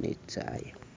ne ne tsayo.